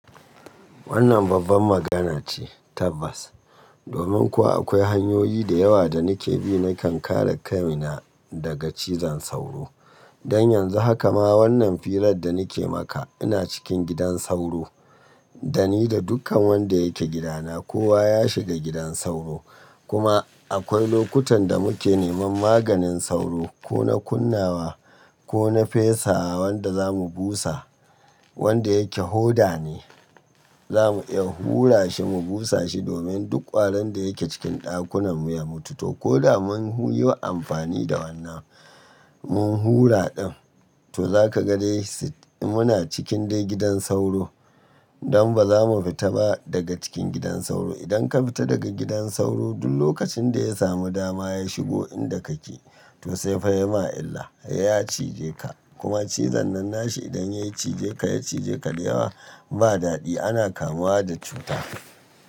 Wannan babban magana ce Tabbas. Domin kuwa akwai hanyoyi da yawa da nike bi nakan kare kaina daga cizon sauro. Don yanzu haka ma wannan firar da nike maka ina cikin gidan sauro, da ni da dukkan wanda yake gidana kowa ya shiga gidan sauro. Kuma akwai lokutan da muke neman maganin sauro ko na kunnawa ko na fesa wanda za mu busa wanda yake hoda ne. Za mu iya hura shi mu busa shi domin duk ƙwaron da yake cikin ɗakunan mu ya mutu ko da mun yiwa amfani da wannan mun hura ɗin to zaka ga dai muna cikin dai gidan sauro don ba za mu fita ba daga cikin gidan sauro. Idan ka fita daga gidan sauro duk lokacin da ya samu dama ya shigo inda kake to sai fa ya ma illa, ya cije ka kuma cizon nan nashi idan ya cije ka ya cije ka da yawa ba daɗi ana kamuwa da cuta.